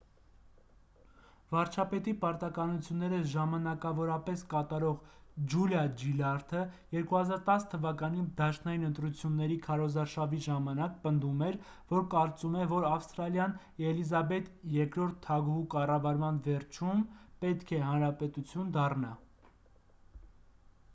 վարչապետի պարտականությունները ժամանակավորապես կատարող ջուլիա ջիլարդը 2010 թվականի դաշնային ընտրությունների քարոզարշավի ժամանակ պնդում էր որ կարծում է որ ավստրալիան էլիզաբեթ ii թագուհու կառավարման վերջում պետք է հանրապետություն դառնա